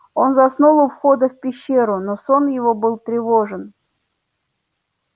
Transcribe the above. он заснул у входа в пещеру но сон его был тревожен